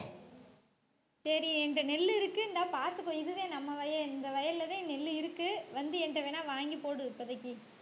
சரி என்கிட்ட நெல்லு இருக்கு இந்தா பாத்துக்கோ இதுதான் நம்ம வயல் இந்த வயல்லதான் நெல்லு இருக்கு வந்து என்கிட்ட வேணா வாங்கி போடு இப்போதைக்கு